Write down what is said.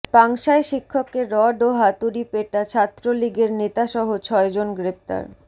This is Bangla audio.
পাংশায় শিক্ষককে রড ও হাতুড়িপেটা ছাত্রলীগের নেতাসহ ছয়জন গ্রেপ্তার